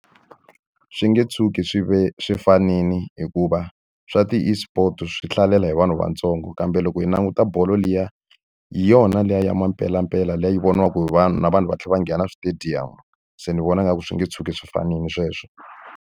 Swi nge tshuki swi ve swi fanile hikuva swa ti-eSport swi hlalela hi vanhu vatsongo. Kambe loko hi languta bolo liya, hi yona leyi ya mpelampela liya yi voniwaka hi vanhu, na vanhu va tlhela va nghena switediyamu. Se ni vona nga ku swi nge tshuki swi fanile sweswo.